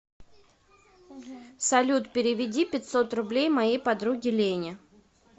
салют переведи пятьсот рублей моей подруге лене